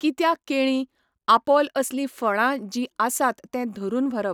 कित्याक केळीं, आपोल असली फळां जी आसात तें धरून व्हरप.